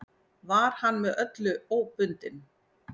Var hann með öllu óbundinn.